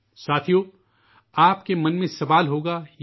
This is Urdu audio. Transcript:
دوستو، آپ کے ذہنوں میں یہ سوال پیدا ہو رہا ہوگا